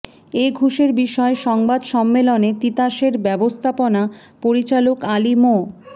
এ ঘুষের বিষয়ে সংবাদ সম্মেলনে তিতাসের ব্যবস্থাপনা পরিচালক আলী মো